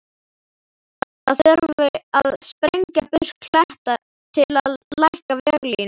Það þurfi að sprengja burt klett til að lækka veglínuna.